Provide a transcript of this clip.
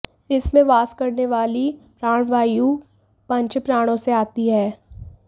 इसमें वास करनेवाली प्राणवायु पंचप्राणों से आती है